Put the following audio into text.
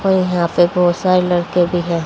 और यहां पे बहुत सारे लड़के भी हैं।